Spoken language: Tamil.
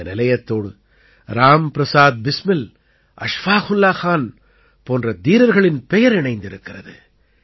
இந்த நிலையத்தோடு ராம் பிரசாத் பிஸ்மில் அஷ்ஃபாகுல்லா கான் போன்ற தீரர்களின் பெயர் இணைந்திருக்கிறது